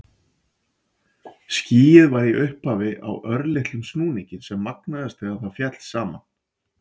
Skýið var í upphafi á örlitlum snúningi sem magnaðist þegar það féll saman.